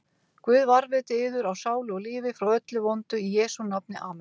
Guð varðveiti yður á sálu og lífi frá öllu vondu í Jesú nafni, amen.